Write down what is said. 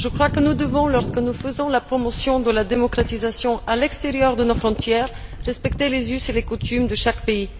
Je crois que nous devons, lorsque nous faisons la promotion de la démocratisation à l'extérieur de nos frontières, respecter les us et les coutumes de chaque pays.